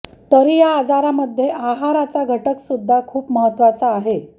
तरी या आजरामध्ये आहाराचा घटक सुद्धा खूप महत्त्वाचा आहे